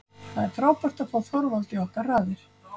Það er frábært að fá Þorvald í okkar raðir.